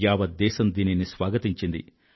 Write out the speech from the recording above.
యావత్ దేశం దీనిని స్వాగతించింది